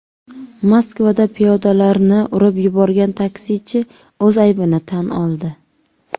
Moskvada piyodalarni urib yuborgan taksichi o‘z aybini tan oldi.